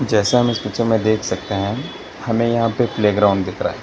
जैसा हम इस पिक्चर में देख सकते हैं हमें यहां पे प्लेग्राउंड दिख रहा है।